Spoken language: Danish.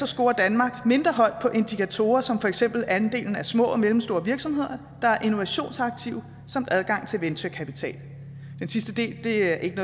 scorer danmark mindre højt på indikatorer som for eksempel andelen af små og mellemstore virksomheder der er innovationsaktive samt adgang til venturekapital den sidste del er ikke